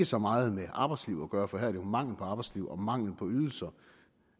så meget med arbejdsliv gøre for her er det jo mangel på arbejdsliv og mangel på ydelser